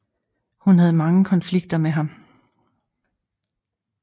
Hun havde mange konflikter med ham